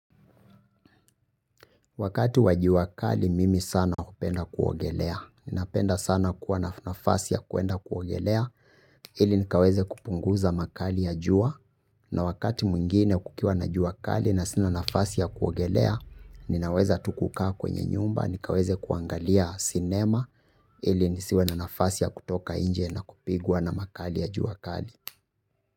Wakati wa jua kali, mimi sana hupenda kuogelea. Ninapenda sana kuwa na nafasi ya kuenda kuogelea, ili nikaweze kupunguza makali ya jua. Na wakati mwingine kukiwa na jua kali na sina nafasi ya kuogelea, ninaweza tu kukaa kwenye nyumba, nikaweze kuangalia sinema, ili nisiwe na nafasi ya kutoka nje na kupigwa na makali ya jua kali.